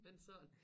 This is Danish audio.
Men sådan